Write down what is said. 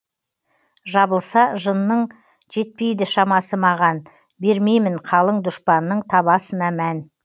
жабылса жынның жетпейді шамасы маған бермеймін қалың дұшпанның табасына мән